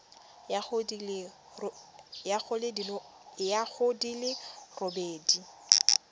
ya go di le robedi